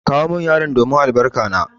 Kawo min yaro domin albarka na!